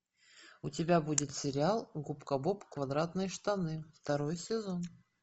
у тебя будет сериал губка боб квадратные штаны второй сезон